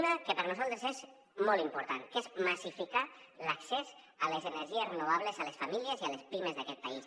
una que per a nosaltres és molt important que és massificar l’accés a les energies renovables a les famílies i a les pimes d’aquest país